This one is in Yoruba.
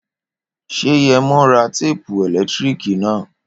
Ṣé Yẹmo ra téèpù ẹ̀lẹ́tíríkì na?